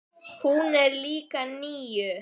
Hún er líka níu.